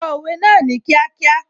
Sọ òwe náà ní kíákíá